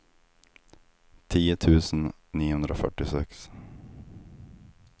tio tusen niohundrafyrtiosex